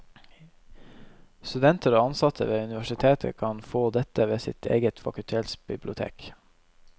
Studenter og ansatte ved universitetet kan få dette ved sitt eget fakultetsbibliotek.